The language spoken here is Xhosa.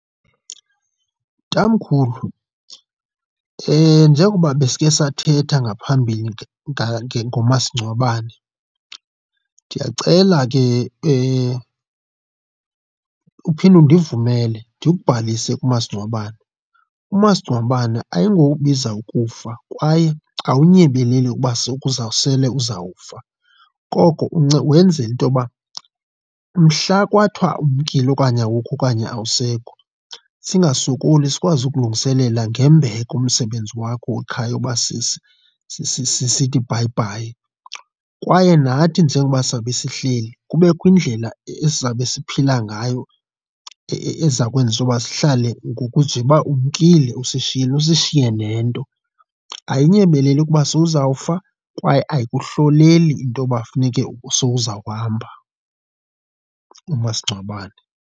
Tamkhulu njengokuba besiye sathetha ngaphambili ngomasingcwabane, ndiyacela ke uphinde undivumele ndikubhalise kumasingcwabane. Umasingcwabane ayingowobiza ukufa kwaye awunyebeleli ukuba sekuba uzawusele uzawufa, koko wenzela into yoba mhla kwathiwa umkile okanye awukho okanye awusekho singasokoli. Sikwazi ukulungiselela ngembeko umsebenzi wakho wekhaya uba sithi bhayibhayi kwaye nathi njengoba sizawube sihleli kubekho indlela esizawube siphila ngayo eza kwenziwa sihlale njengoba umkile usishiyile, usishiye nento. Ayinyemeleli ukuba sewuzafa kwaye ayikuhloleli intoba funeke sowuzawuhamba umasingcwabane.